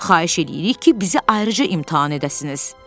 Xahiş eləyirik ki, bizi ayrıca imtahan edəsiniz.